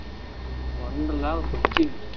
Wonderla Cochin